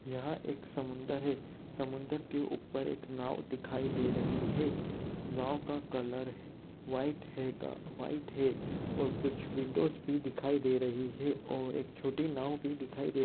यहां एक समुंदर है समुद्र के ऊपर एक नाव दिखाई दे रही है नाव का कलर है व्हाइट है गा व्हाइट है और कुछ विंडोज़ भी दिखाई दे रही है और एक छोटी नाव दिखाई दे--